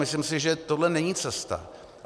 Myslím si, že tohle není cesta.